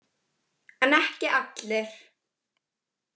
En ekki allir.